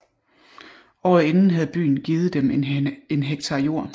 Året inden havde byen givet dem en hektar jord